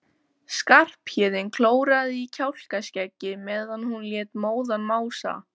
Skarphéðinn klóraði í kjálkaskeggið meðan hún lét móðan mása.